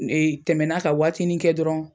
tɛmɛna ka waatini kɛ dɔrɔn,